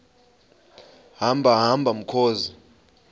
hamba hamba mkhozi